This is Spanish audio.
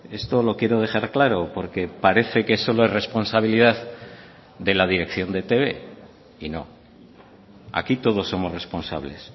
esto lo quiero dejar claro porque parece que solo es responsabilidad de la dirección de etb y no aquí todos somos responsables